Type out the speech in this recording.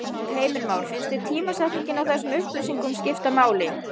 Heimir Már: Finnst þér tímasetningin á þessum upplýsingum skipta máli?